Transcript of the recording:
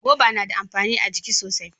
Goba na da amfani a jiki sosai.